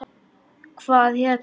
Hvað hérna.